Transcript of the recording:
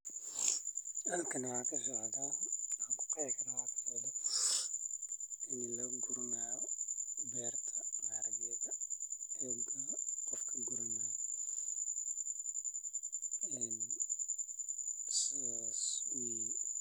Halkani waxaa kasocdaa in la guranaayo beerta qof uu guranaayo saas weye.